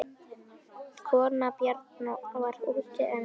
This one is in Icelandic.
Kona Bjarnar var úti en